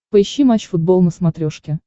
поищи матч футбол на смотрешке